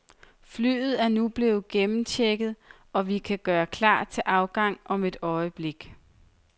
Flyet er nu blevet gennemchecket, og vi kan gøre klar til afgang om et øjeblik.